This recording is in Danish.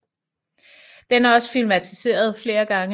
Den er også filmatiseret flere gange